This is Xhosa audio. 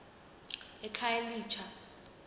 ekhayelitsha